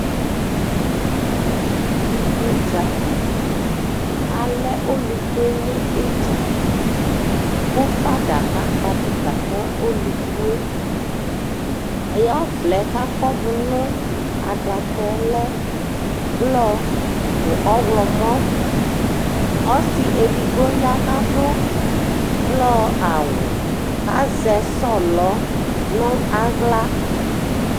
Iku dza Alɛ ɔlʋku yɛ nʋ ɩdza kʋ fada kakpɔ avɩta ka ɔlʋku yɛ Ɔvlɛ yɛ kʋ akɔdʋ nʋ adaka yɛ lɛ blɔ nʋ ɔɣlɔmɔ Ɔsɩ edigbo ya kʋ adʋ blɔ awʋ kʋ azɛ sɔlɔ nʋ aɣla